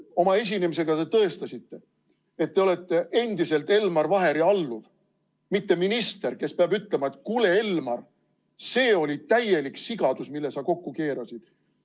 Oma esinemisega te tõestasite, et te olete endiselt Elmar Vaheri alluv, mitte minister, kes peab ütlema, et kuule, Elmar, see oli täielik sigadus, mille sa kokku keerasid.